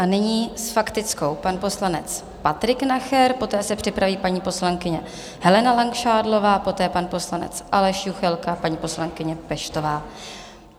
A nyní s faktickou pan poslanec Patrik Nacher, poté se připraví paní poslankyně Helena Langšádlová, poté pan poslanec Aleš Juchelka, paní poslankyně Peštová.